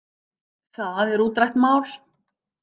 Það er útrætt mál.